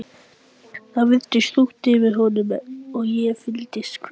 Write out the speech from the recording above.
Það virtist þungt yfir honum og ég fylltist kvíða.